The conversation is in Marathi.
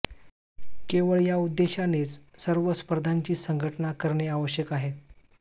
केवळ या उद्देशानेच सर्व स्पर्धांची संघटना करणे आवश्यक आहे